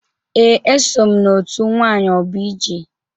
Ee, eso m na-otu nwayọbụije.